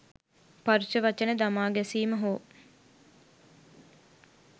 පරුෂ වචන දමා ගැසීම හෝ